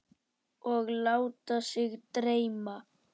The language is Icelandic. Og láta sig dreyma.